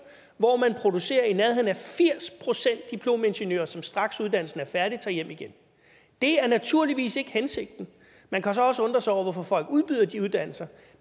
hvor man producerer i nærheden af firs procent diplomingeniører som straks når uddannelsen er færdig tager hjem igen det er naturligvis ikke hensigten man kan så også undre sig over hvorfor folk udbyder de uddannelser